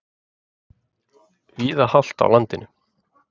Víða hált á landinu